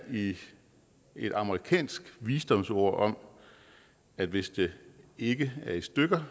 i et amerikansk visdomsord om at hvis det ikke er i stykker